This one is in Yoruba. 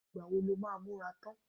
Ìgbà wo lo máa múra tán?